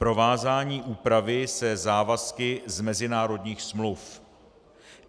Provázání úpravy se závazky z mezinárodních smluv.